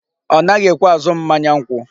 Ọ naghi ekwe azụ m mmanya nkwụ.